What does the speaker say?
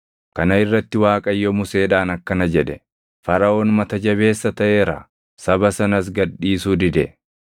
Kana irratti Waaqayyo Museedhaan akkana jedhe; “Faraʼoon mata jabeessa taʼeera; saba sanas gad dhiisuu dide.